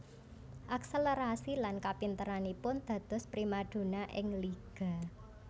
Akselerasi lan kapinteranipun dados primadona ing liga